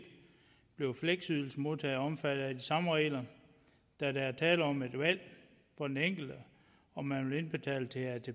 blev fleksydelsemodtagere omfattet af de samme regler da der er tale om et valg for den enkelte om man vil indbetale til atp